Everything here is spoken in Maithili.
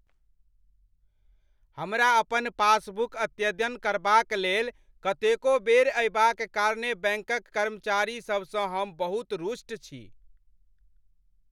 हमरा अपन पासबुक अद्यतन करबाक लेल कतेको बेर अयबाक कारणेँ बैंकक कर्मचारीसभसँ हम बहुत रुष्ट छी।